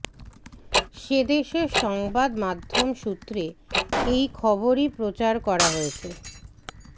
সেদেশের সংবাদ মাধ্যম সূত্রে এই খবরই প্রচার করা হয়েছে